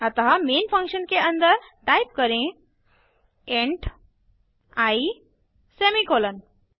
अतः main function के अन्दर टाइप करें इंट आई सेमीकोलन